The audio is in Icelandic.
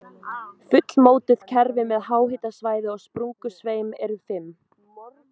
Fullmótuð kerfi með háhitasvæði og sprungusveim eru fimm.